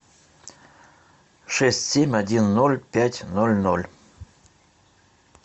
шесть семь один ноль пять ноль ноль